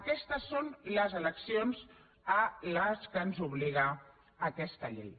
aquestes són les eleccions a què ens obliga aquesta llei